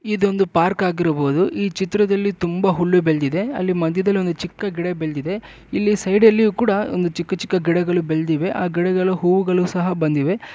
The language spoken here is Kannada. ಇದು ಒಂದು ಪಾರ್ಕ್ ಆಗಿರಬಹುದು ಈ ಚಿತ್ರದಲ್ಲಿ ತುಂಬಾ ಹುಲ್ಲು ಬೆಳೆದಿದೆ ಮಧ್ಯದಲ್ಲಿ ಒಂದು ಗಿಡ ಇದೆ ಇಲ್ಲಿ ಸೈಡಲ್ಲಿ ಕೂಡ ಚಿಕ್ಕ ಚಿಕ್ಕ ಗಿಡಗಳು ಬೆಳೆದಿವೆ ಈ ಗಿಡಗಳು ಹೂಗಳು ಸಹ ಬಂದಿವೆ